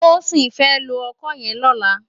Tosin fè ló òkõ yèn lòlá